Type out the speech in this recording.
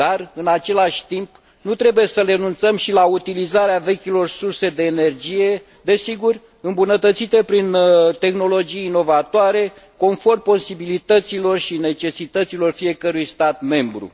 Dar, în același timp, nu trebuie să renunțăm și la utilizarea vechilor surse de energie, desigur, îmbunătățită prin tehnologii inovatoare, conform posibilităților și necesităților fiecărui stat membru.